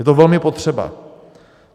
Je to velmi potřeba.